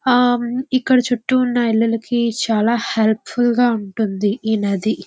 ఆ ఆ ఇక్కడ చుట్టూ ఉన్న ఇల్లులు కి చాలా హెల్ప్ ఫుల్ గా ఉంటుంది ఈ నది.